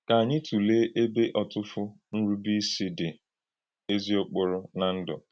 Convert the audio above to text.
Kà ànyí tụlèé ébè ọ̀tùfù nrùbèísí dị̀ èzì-ọ̀kpòrò nà Ndụ́.